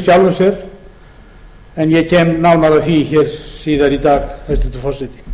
sjálfu sér en ég kem nánar að því síðar í dag hæstvirtur forseti